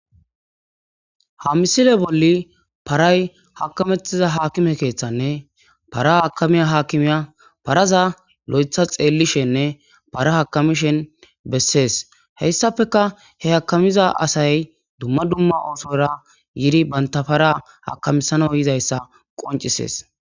ha misile bolli paray hakamettiza haakime keeththanne para hakamiya haakimiya paraza lo'etha xeellishenne para hakamishen bessees heyssafeka he hakamiza asay dumma dumma oosora yidi banta para hakamisano yizayssa qoncisees